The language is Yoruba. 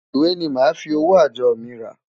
Ìwé ni màá fi owó àjọ mi rà.